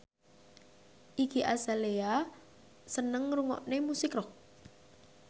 Iggy Azalea seneng ngrungokne musik rock